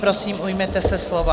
Prosím, ujměte se slova.